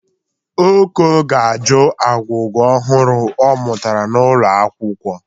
Oko ga-ajụ agwụgwa ọhụrụ ọ mụtara n'ụlọakwụkwọ.